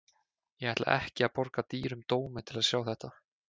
Ég ætla ekki að borga dýrum dómi til að sjá þetta.